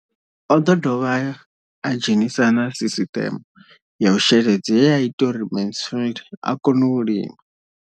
O ḓo dovha a dzhenisa na sisiṱeme ya u sheledza ye ya ita uri Mansfied a kone u lima.